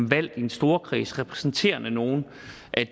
valgt i en storkreds og repræsentere nogen